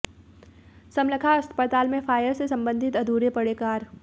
समालखा अस्पताल में फायर से सम्बंधित अधूरे पड़े कार्य